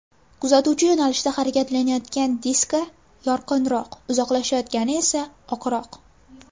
Kuzatuvchi yo‘nalishida harakatlanayotgan diska yorqinroq, uzoqlashayotgani esa oqroq.